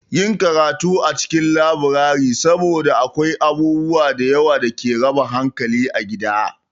Yi karatu a cikin laburare saboda akwai abubuwa da yawa da ke raba hankali a gida.